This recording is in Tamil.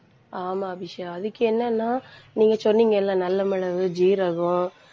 ஆமா, அபிஷா அதுக்கு என்னன்னா நீங்க சொன்னீங்கல்ல நல்ல மிளகு, ஜீரகம்,